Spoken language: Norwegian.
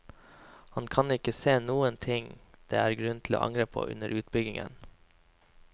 Han kan ikke se noen ting det er grunn til å angre på under utbyggingen.